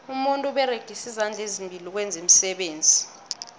umuntu uberegisa izandla ezimbili ukwenza iimisebenzi